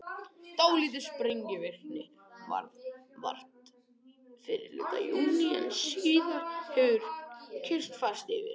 Dálítillar sprengivirkni varð vart fyrri hluta júní en síðan hefur kyrrð færst yfir.